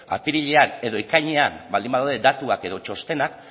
apirilean edo ekainean baldin badaude datuak edo txostenak